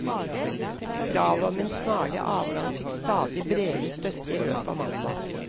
Kravet om en snarlig avgang fikk stadig bredere støtte i løpet av mandag.